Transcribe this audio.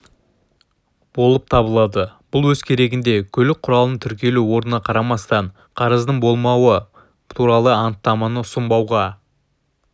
болып табылады бұл өз кезегінде көлік құралының тіркелу орнына қарамастан қарыздың болмауы туралы анықтаманы ұсынбауға